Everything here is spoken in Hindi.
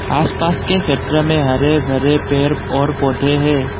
आसपास के क्षेत्र में हरे भरे पेर और पौधे हैं।